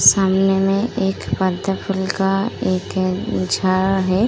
सामने में एक का एक झाड् है।